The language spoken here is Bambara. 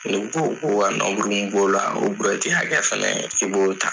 Ko ko ka b'o la o buruwɛti hakɛ fɛnɛ i b'o ta